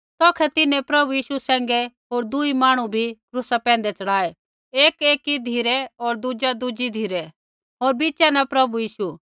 तौखै तिन्हैं प्रभु यीशु सैंघै होर दुई मांहणु भी क्रूसा पैंधै च़ढ़ाऐ एक एकी धिरै होर दुज़ी धिरै होर बिच़ा न प्रभु यीशु